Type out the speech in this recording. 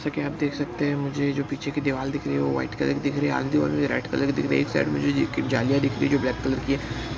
जैसा की आप देख सकते हैं मुझे जो पीछे की दीवाल दिख रही है वो व्हाइट कलर की दिख रही है। आगे की दीवाल भी रेड कलर की दिख रही है। एक साइड में ज जोकि जालियां दिख रही है जो ब्लैक कलर की है।